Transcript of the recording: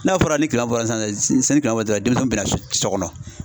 N'a fɔra ni kile bɔra san ni kile denmisɛnw bɛna so kɔnɔ.